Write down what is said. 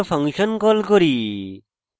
area function call করি